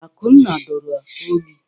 Akunna dara ogbi.